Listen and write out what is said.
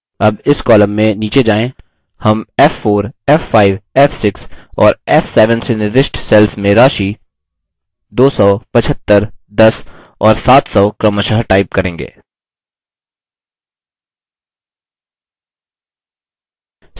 अब इस column में नीचे जाएँ हम f4 75 f6 और f7 से निर्दिष्ट cells में राशि 1000 625 10 और 200 क्रमशः type करेंगे